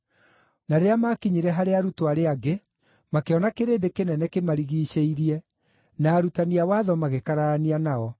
Na rĩrĩa maakinyire harĩ arutwo arĩa angĩ, makĩona kĩrĩndĩ kĩnene kĩmarigiicĩirie, na arutani a watho magĩkararania nao.